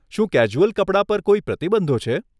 શું કેઝ્યુઅલ કપડાં પર કોઈ પ્રતિબંધો છે?